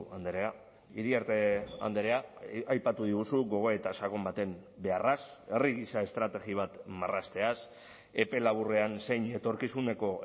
andrea iriarte andrea aipatu diguzu gogoeta sakon baten beharraz herri gisa estrategia bat marrazteaz epe laburrean zein etorkizuneko